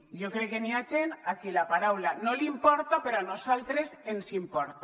jo crec que hi ha gent a qui la paraula no li importa però a nosaltres ens importa